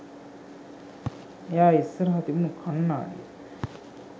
එයා ඉස්සරහා තිබුණු කන්නාඩිය